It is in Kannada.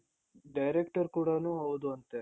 director ಕೂಡನು ಹೌದು ಅಂತೆ.